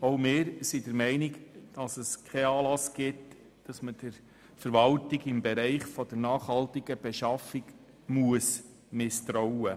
Auch wir sind der Meinung, dass kein Anlass besteht, der Verwaltung im Bereich der nachhaltigen Beschaffung zu misstrauen.